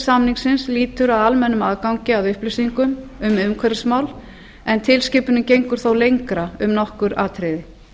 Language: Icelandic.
samningsins lýtur að almennum aðgangi að upplýsingum um umhverfismál en tilskipunin gengur þó lengra um nokkur atriði